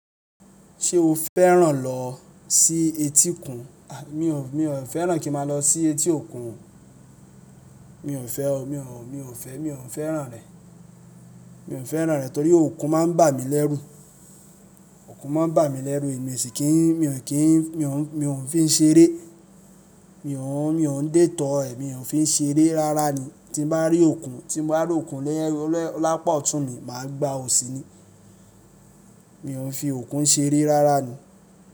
Ṣé o fẹ́ràn lọ sí etí òkun? A! Mi ò, mi ò fẹ́ràn kín má lọ sí etí òkun o. Mi ò fẹ́ o. Mi ò, mi ò fẹ́, mi ò fẹ́ràn rẹ̀. Mi ò fẹ́ràn rẹ̀ torí òkun má ń bà mí lẹ́rù. Òkun má ń bà mí lẹ́rù, èmi o sì kì í, mi ò kì í, mi ò ń, mi ò ń fi ń ṣeré. Mi ò ń, mi ò ń dè tọ́ ẹ̀, mi ò ń fi ń ṣeré rárá ni. Tí n bá rí òkun, tí bá rí òkun lapà otún mi, màá gba òsì ni. Mi ò ń fi òkun ṣeré rárá ni.